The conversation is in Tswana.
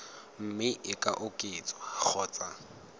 mme e ka oketswa kgotsa